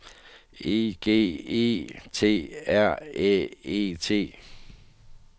E G E T R Æ E T